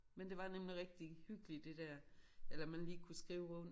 Men det var nemlig rigtig hyggeligt det dér eller man lige kunne skrive rundt